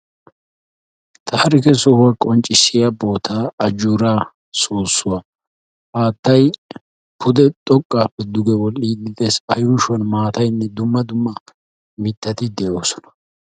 Taarikke sohuwa qonccissiya bootaa ajuura soossuwa haattay pude xoqqaappe duge wol"iiddi de'ees a yuushshuwan maatayinne dumma dumma mittatti de'oosona